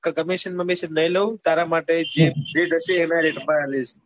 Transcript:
તો commission બમીષણ ની લઉં તારા માટે જે rate પર એ જ rate પર આલીસ